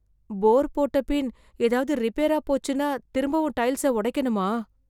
போர் போட்டபின், எதாவது ரிப்பேரா போச்சுன்னா, திரும்பவும் டைல்ஸ்ஸ ஒடைக்கணுமா...